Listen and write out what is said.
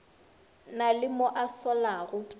na le mo a solago